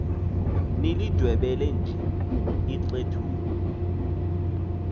nilindwebele nje ixethuka